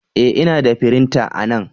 E! Ina da firinta anan.